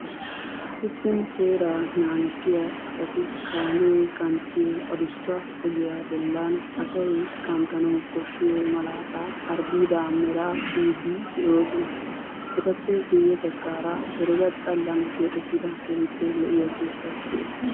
Usuppun seeraa naagissiya A asati kaamee kanttiyo adussa ogiya bollan asayi kanttanawu kishshiyo malaataa harddiidaa meraa tiyiiddi de'oosona. Etappe guyye baggaara herega xalla keexettida keehippe lo'iya keettayi de'es.